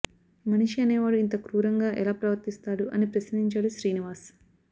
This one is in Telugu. మనిషి అనే వాడు ఇంత క్రూరంగా ఎలా ప్రవర్తిస్తాడు అని ప్రశ్నించాడు శ్రీనివాస్